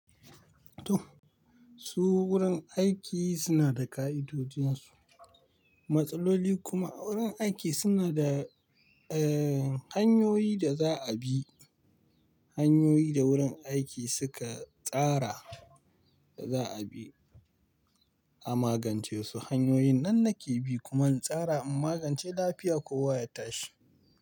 To su wurin aiki suna da ƙa'idodin su, matsaloli kuma wurin aiki suna da, eh hanyoyi da za a bi. Hanyoyi da wurin aiki suka tsara da za a bi, a magance su hanyoyin nan nake bi kuma in tsara in magance lafiya kowa ya tashi.